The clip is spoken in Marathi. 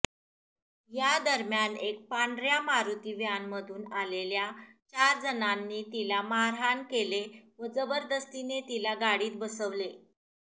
यादरम्यान एक पांढऱ्या मारुती वॅनमधून आलेल्या चारजणांनी तिला मारहाण केले व जबरदस्तीने तिला गाडीत बसवले